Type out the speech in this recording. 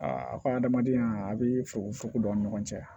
Aa a ka adamadenya a bi fokofoko an ni ɲɔgɔn cɛ